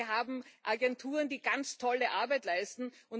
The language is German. Wir haben Agenturen, die ganz tolle Arbeit leisten.